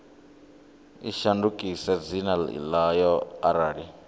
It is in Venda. i shandukise dzina ḽayo arali